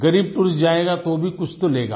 ग़रीब टूरिस्ट जाएगा तो कुछ न कुछ तो लेगा